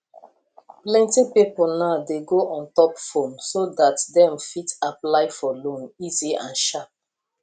plenty people now dey go ontop phone so that dem fit apply for loan easy and sharp